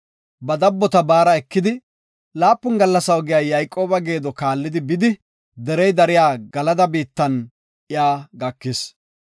Ba dabbota baara ekidi, laapun gallasa oge Yayqooba geedo kaalli derey dariya Galada biittan iya gakis.